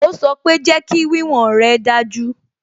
Ó sọ pé "Jẹ́kí wíwọ̀n rè dájú"